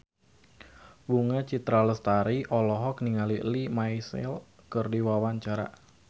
Bunga Citra Lestari olohok ningali Lea Michele keur diwawancara